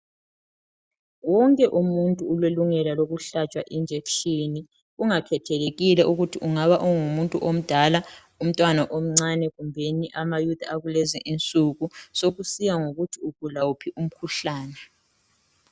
Wonke umuntu ulelungelo lokuhlatshwa injekhishini ungakhethekile ukuthi ungaba ngumuntu omdala umtwana omncane kumbeni amayouth akulezi insuku sokusiya ngokuthi ugula uphi umkhuhlane